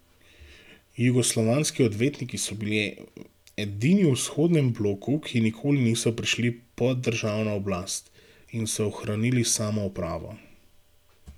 Jugoslovanski odvetniki so bili edini v vzhodnem bloku, ki nikoli niso prišli pod državno oblast, in so ohranili samoupravo.